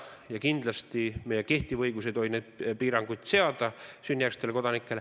Ja kindlasti ei tohi meie kehtiv õigus sünnijärgsetele kodanikele neid piiranguid seada.